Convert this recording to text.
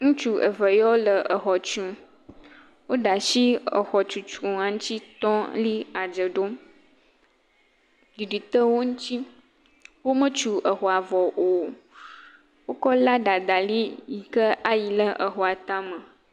Ŋutsu eve yawo le exɔ tum. Wo ɖe asi le exɔ tutua ŋuti tɔ li adze ɖom. Ɖiɖi te wò ŋuti. Wo me tu exɔa vɔ o. Wokɔ ladda da ɖi yike ke wòa lia edzi ayi ɖe exɔa tame.